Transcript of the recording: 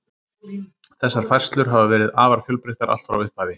Þessar færslur hafa verið afar fjölbreyttar allt frá upphafi.